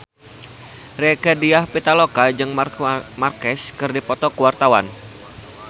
Rieke Diah Pitaloka jeung Marc Marquez keur dipoto ku wartawan